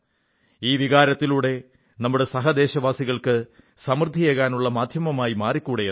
ഈ ഒരു വികാരത്തിലൂടെ നമ്മുടെ സഹ ദേശവാസികൾക്ക് സമൃദ്ധിയേകാനുള്ള മാധ്യമമായി മാറിക്കൂടേ എന്നാണ്